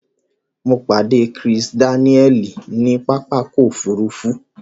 Mo pàdé Kisi Dáníẹ̀lì ní pápákọ̀ òfurufú.